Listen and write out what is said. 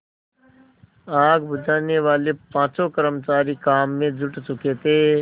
आग बुझानेवाले पाँचों कर्मचारी काम में जुट चुके थे